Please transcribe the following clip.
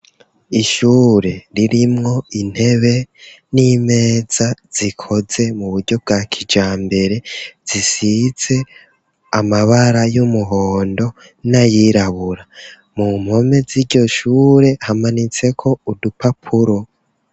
Ishure ririmwo intebe n'imeza zikoze mu buryo bwa kija mbere zisize amabara y'umuhondo n'ayirabura, mu mpome z'iryo shure hamanitseko udupapuro.